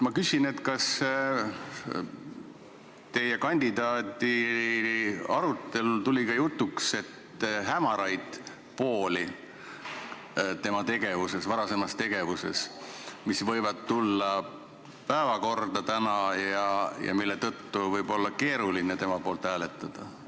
Ma küsin, kas teie kandidaadi-arutelul tulid jutuks hämarad pooled tema varasemas tegevuses, mis võivad tulla täna päevakorda ja mille tõttu võib olla keeruline tema poolt hääletada?